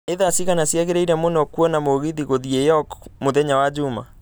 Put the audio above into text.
nĩ thaa cigana ciagĩriĩrĩ mũno kwona mũgithi gũthiĩ York mũthenya wa jũma